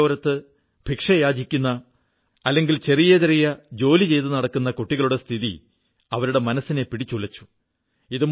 പാതയോരത്ത് ഭിക്ഷയാചിക്കുന്ന അല്ലെങ്കിൽ ചെറിയ ചെറിയ ജോലി ചെയ്തു നടക്കുന്ന കുട്ടികളുടെ അവസ്ഥ അവരെ പിടിച്ചുലച്ചു